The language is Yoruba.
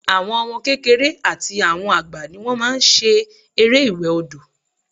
Àwọn ọmọ kékeré àti àwọn àgbà ni wọ́n máa n ṣe eré ìwẹ̀ odò